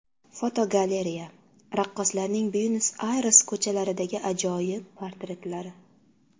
Fotogalereya: Raqqoslarning Buenos-Ayres ko‘chalaridagi ajoyib portretlari.